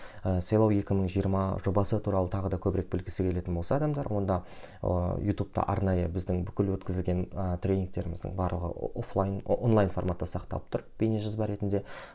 ы сайлау екі мың жиырма жобасы туралы тағы да көбірек білгісі келетін болса адамдар онда ыыы ютубта арнайы біздің бүкіл өткізілген і тренингтеріміздің барлығы офлайн онлайн форматта сақталып тұр бейнежазба ретінде